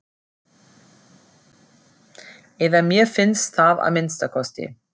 Eða mér finnst það að minnsta kosti.